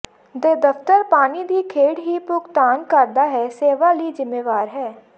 ਦੇ ਦਫ਼ਤਰ ਪਾਣੀ ਦੀ ਖੇਡ ਹੀ ਭੁਗਤਾਨ ਕਰਦਾ ਹੈ ਸੇਵਾ ਲਈ ਜ਼ਿੰਮੇਵਾਰ ਹੈ